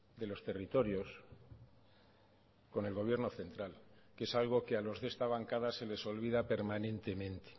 de los territorios con el gobierno central que es algo que a los de esta bancada se les olvida permanentemente